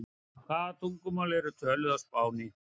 Hvaða tungumál eru töluð á Spáni?